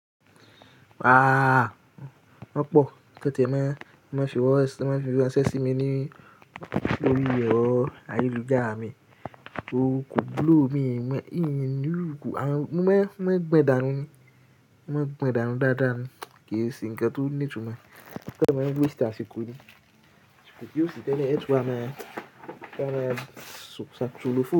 Ah, ọ̀pọ̀. Ikan tie máa ń fi wọ́n ranṣẹ́ sí mi lórí ẹ̀rọ ayélujára mi. Òòkú blue mi ń yí mi lúùkù. Mo máa ń gbe ìdárun ní, mo máa ń gbe ìdárun dáadáa ni kì í sì ǹkan tó ní ìtumọ̀. Kẹ́tẹ́ máa ń gbé èsì àsìkò ni kí ó sì tẹ́lẹ̀ ẹ́ tú a mẹ́, kí wọ́n má ṣe ṣákí tú olófin.